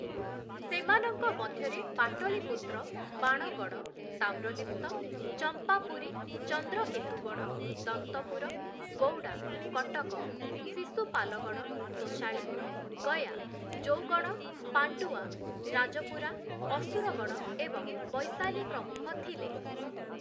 ସେମାନଙ୍କ ମଧ୍ୟରେ ପାଟଳୀପୁତ୍ର, ବାଣଗଡ଼଼, ତାମ୍ରଲୀପ୍ତ, ଚମ୍ପାପୁରୀ, ଚନ୍ଦ୍ରକେତୁଗଡ଼଼, ଦନ୍ତପୁର, ଗୌଡ଼ା, କଟକ, ଶିଶୁପାଲଗଡ଼, ତୋଶାଳୀ, ଗୟା, ଜୌଗଡ଼, ପାଣ୍ଡୁଆ, ରାଜପୁରା, ଅସୁରଗଡ଼ ଏବଂ ବୈଶାଲୀ ପ୍ରମୁଖ ଥିଲେ ।